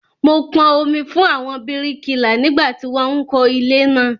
Mo pọn omi fún àwọn bíríkìlà nígbà tí wón ń kó ilé naa